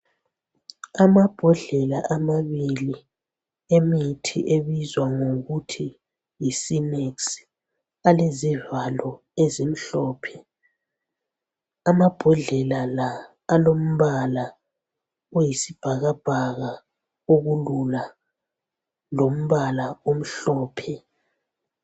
Amambodlela amabili emithi ebizwa ngokuthi yi Sinex alezivalo ezimhlophe. Amambodlela la alombala oyisibhakabhaka olula lombala omhlophe.